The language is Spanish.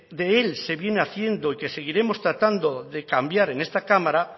de él se viene haciendo y que seguiremos tratando de cambiar en esta cámara